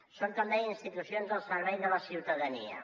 són com deia institucions al servei de la ciutadania